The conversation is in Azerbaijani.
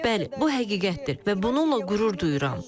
Bəli, bu həqiqətdir və bununla qürur duyuram.